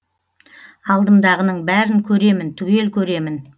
алдымдағының бәрін көремін түгел көремін